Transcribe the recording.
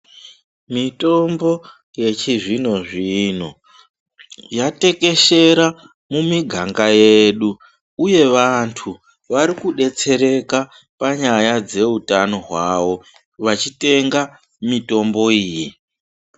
Mitombo yechizvinizvino yatekeshera mumiganga yedu uye vantu vari kudetsereka panyaya yeutano hwavo vachitenga mitombo iyi.